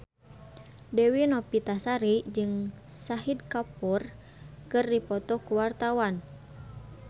Dewi Novitasari jeung Shahid Kapoor keur dipoto ku wartawan